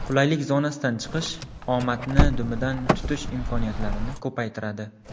Qulaylik zonasidan chiqish omadni dumidan tutish imkoniyatlarini ko‘paytiradi.